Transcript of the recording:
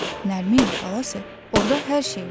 Nərmin, balası, orda hər şey var.